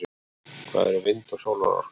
hvað eru vind og sólarorka